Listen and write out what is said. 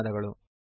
ಧನ್ಯವಾದಗಳು